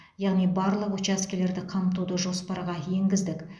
яғни барлық учаскелерді қамтуды жоспарға енгіздік